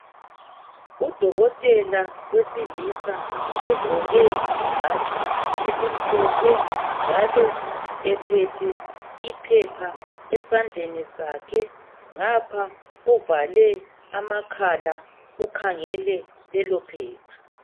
Udokotela wesilisa ogqoke ibhatshi elimhlophe njalo ephethe iphepha esandleni sakhe ngapha uvale amakhala ukhangele lelo phepha.